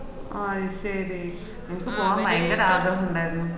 അയ്‌ശേരി എനക്ക് പോവാന് ഭയങ്കര ആഗ്രഹം ഉണ്ടായ്ന്